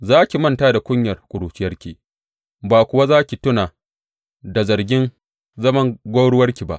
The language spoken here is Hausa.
Za ki manta da kunyar ƙuruciyarki ba kuwa za ki tuna da zargin zaman gwauruwarki ba.